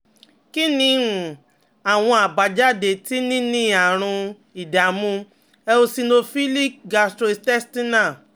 Kí ni um àwọn àbájáde tí níní àrùn ìdààmú eosinophilic gastrointestinal